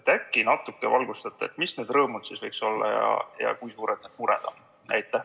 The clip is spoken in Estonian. Äkki natuke valgustate, mis need rõõmud siis võiks olla ja kui suured need mured on?